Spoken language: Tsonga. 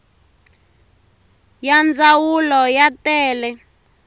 ya ndzawulo ya ta le